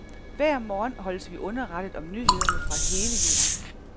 Hver morgen holdes vi underrettet om nyhederne fra hele jorden.